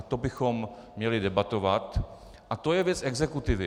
A to bychom měli debatovat a to je věc exekutivy.